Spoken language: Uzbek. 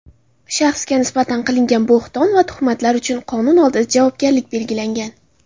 shaxsga nisbatan qilingan bo‘hton va tuhmatlar uchun qonun oldida javobgarlik belgilangan.